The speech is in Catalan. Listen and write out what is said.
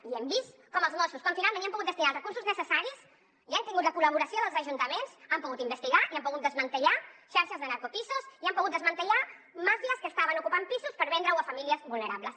i hem vist com els mossos quan finalment hi hem pogut destinar els recursos necessaris i han tingut la col·laboració dels ajuntaments han pogut investigar i han pogut desmantellar xarxes de narcopisos i han pogut desmantellar màfies que estaven ocupant pisos per vendre’ls a famílies vulnerables